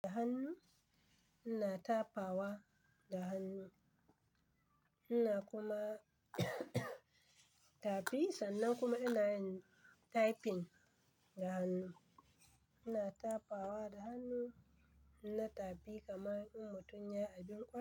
Da hannu, ina tafawa da hannu, ina kuma tafi sannan kuma ina yin typing da hannu. Ina tafawa da hannu, ina tafi kamar in mutum ya abin kwan.